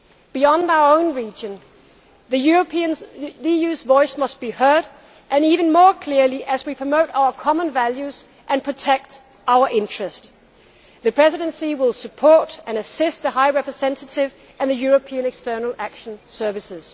Beyond our own region, the EU's voice must be heard and heard even more clearly as we promote our common values and protect our interests. The Presidency will support and assist the High Representative and the European External Action Service.